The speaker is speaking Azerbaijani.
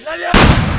Minaatan!